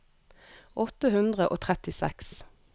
åtte hundre og trettiseks